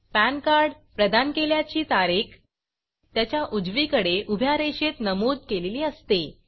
pan card प्रदान केल्याची तारीख त्याच्या उजवीकडे उभ्या रेषेत नमूद केलेली असते